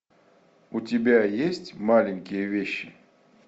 у тебя есть маленькие вещи